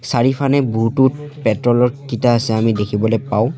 চাৰিওফানে বহুতো পেট্ৰলৰ কিটা আছে আমি দেখিবলৈ পাওঁ।